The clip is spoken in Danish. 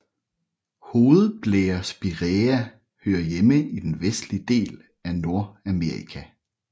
Hovedblærespiræa hører hjemme i den vestlige del af Nordamerika